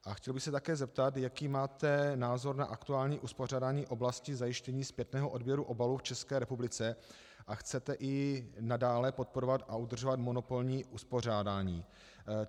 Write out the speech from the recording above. A chtěl bych se také zeptat, jaký máte názor na aktuální uspořádání oblasti zajištění zpětného odběru obalů v České republice, a chcete i nadále podporovat a udržovat monopolní uspořádání?